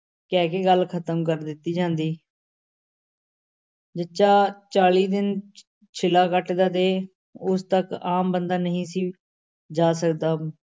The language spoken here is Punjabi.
ਕਹਿ ਕੇ ਗੱਲ ਖ਼ਤਮ ਕਰ ਦਿੱਤੀ ਜਾਂਦੀ ਜੱਚਾ ਚਾਲੀ ਦਿਨ ਛਿਲਾ ਕੱਟਦਾ ਤੇ ਉਸ ਤੱਕ ਆਮ ਬੰਦਾ ਨਹੀਂ ਸੀ ਜਾ ਸਕਦਾ।